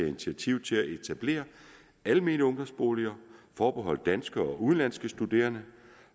initiativ til at etablere almene ungdomsboliger forbeholdt danske og udenlandske studerende